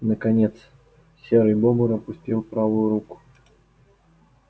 наконец серый бобр опустил правую руку